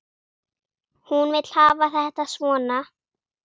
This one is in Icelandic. Hún vill hafa þetta svona.